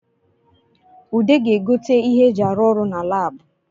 Ude ga-egote ihe e ji arụ ọrụ na Lab